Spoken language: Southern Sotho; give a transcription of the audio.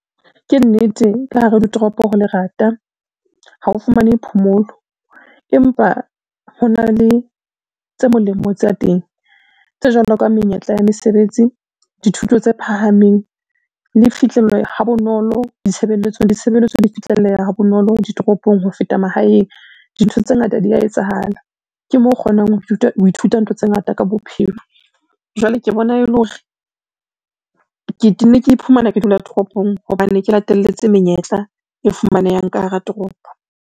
Ke nnete ka hara ditoropo ho lerata, ha o fumane phomolo, empa ho na le tse molemo tsa teng. Tse jwalo ka menyetla ya mesebetsi, dithuto tse phahameng le fihlello ha bonolo ditshebeletsong, ditshebeletso di fihlelleha ha bonolo ditoropong ho feta mahaeng. Dintho tse ngata dia etsahala ke mo o kgonang ho ithuta ntho tse ngata ka bophelo. Jwale ke bona e le hore, ke tenne ke iphumana ke dula toropong hobane ke latelletse menyetla e fumanehang ka hara toropo.